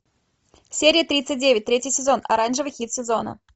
серия тридцать девять третий сезон оранжевый хит сезона